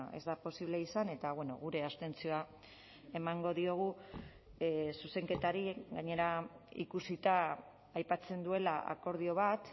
ez da posible izan eta gure abstentzioa emango diogu zuzenketari gainera ikusita aipatzen duela akordio bat